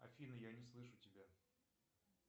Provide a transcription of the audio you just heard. афина я не слышу тебя